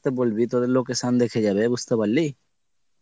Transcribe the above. বলবি তোদের location দেখে যাবে বুজতে পারলি।